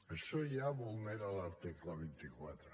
això ja vulnera l’article vint quatre